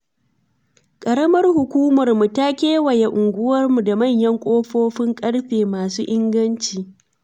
Ƙaramar hukumarmu ta kewaye unguwarmu da manyan ƙofofin ƙarfe masu inganci.